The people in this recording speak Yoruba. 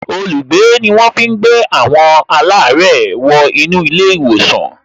Olùgbé ni wọ́n fi ń gbé àwọn alare wo inú ilé ìwòsàn